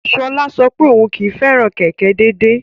Sola sọ pé òun kì í fẹ́ràn kẹ̀kẹ́ déédéé.